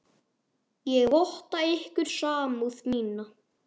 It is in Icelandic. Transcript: Ég votta ykkur samúð mína.